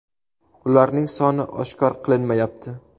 Ularning soni oshkor qilinmayapti.